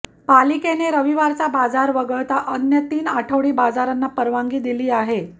पालिकेने रविवारचा बाजार वगळता अन्य तीन आठवडी बाजारांना परवानगी दिली आहे